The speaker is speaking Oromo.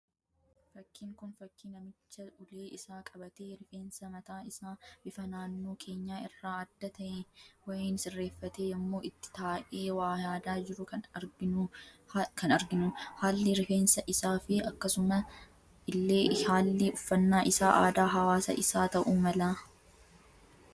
Fakkiin kun, fakkii namicha ulee isaa qabatee, rifeensa mataa isaa bifa naannoo keenya irraa adda ta'e wayiin sirreeffatee yemmuu itti taa'ee waa yaadaa jiru kan arginu. Haalli rifeensa isaa fi akkasuma illee haalli uffannaa isaa aadaa hawaasa isaa ta'uu mala.